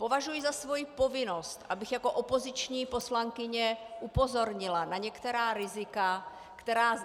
Považuji za svou povinnost, abych jako opoziční poslankyně upozornila na některá rizika, která